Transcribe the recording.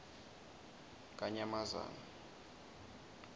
kanyamazane